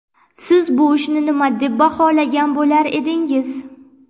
Siz bu ishni nima deb baholagan bo‘lar edingiz?